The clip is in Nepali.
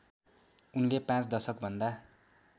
उनले पाँच दशकभन्दा